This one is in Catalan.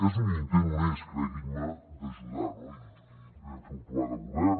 és un intent honest creguin me d’ajudar no i vam fer un pla de govern